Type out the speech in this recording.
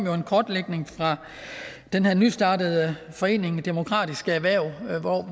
fra den her nystartede forening tænketanken demokratiske erhverv